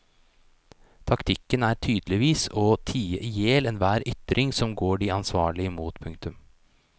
Taktikken er tydeligvis å tie ihjel enhver ytring som går de ansvarlige imot. punktum